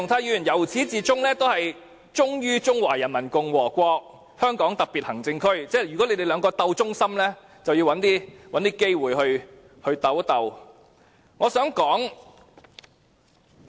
由始至終，鄭松泰議員都忠於中華人民共和國香港特別行政區，如果要比試誰更忠心，他們便要再找機會比一下。